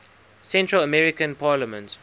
central american parliament